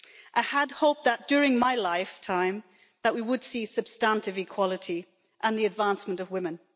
I had hoped that during my lifetime, we would see substantive equality and the advancement of women.